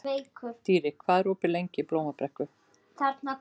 Dýri, hvað er opið lengi í Blómabrekku?